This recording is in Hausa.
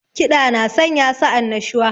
Kiɗa na sanya sa annashuwa